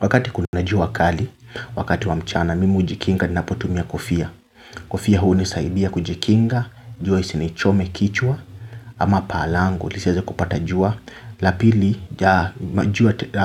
Wakati kuna jua kali, wakati wa mchana, mimi hujikinga ninapotumia kofia. Kofia hunisaidia kujikinga, jua isinichome kichwa ama paji langu, nisiweze kupata jua. La pili,